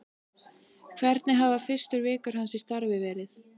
Hvernig hafa fyrstu vikur hans í starfi verið?